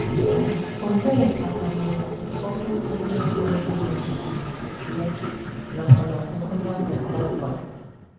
Olee abamuru ụfọdụ dị n’ịgụ ihe n’ozuzu ya, nakwa n’ọgụgụ Novel kpọmkwem?